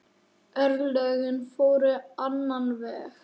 Örlögin fóru á annan veg.